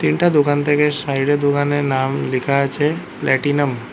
এইটা দোকান থেকে সাইড এ দোকানের নাম লিখা আছে প্লাটিনাম ।